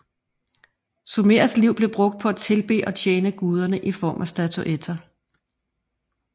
Sumerernes liv blev brugt på at tilbede og tjene guderne i form af statuer